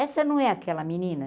Essa não é aquela menina?